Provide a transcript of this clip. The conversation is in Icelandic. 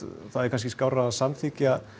það er kannski skárra að samþykkja